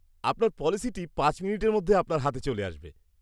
আপনার পলিসিটি পাঁচ মিনিটের মধ্যে আপনার হাতে চলে আসবে।